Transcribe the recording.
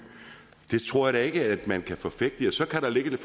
det tror jeg da ikke at man kan forfægte så kan der ligge en